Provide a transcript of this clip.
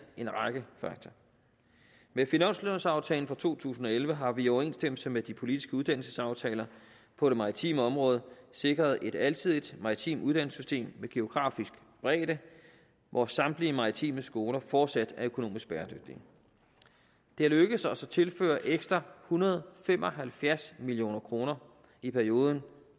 en række fakta med finanslovaftalen for to tusind og elleve har vi i overensstemmelse med de politiske uddannelsesaftaler på det maritime område sikret et alsidigt maritimt uddannelsessystem med geografisk bredde hvor samtlige maritime skoler fortsat er økonomisk bæredygtige det er lykkedes os at tilføre ekstra en hundrede og fem og halvfjerds million kroner i perioden